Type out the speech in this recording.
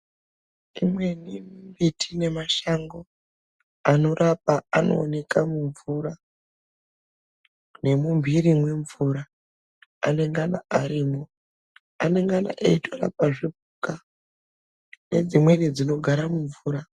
Imweni miti nemashango anorapa anooneka mumvura nemumhiri mwemvura anengana arimwo. Anengana eitorapa zvipuka nedzimweni dzinogara mumvura.